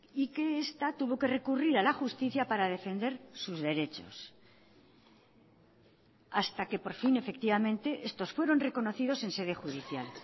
y que esta tuvo que recurrir a la justicia para defender sus derechos hasta que por fin efectivamente estos fueron reconocidos en sede judicial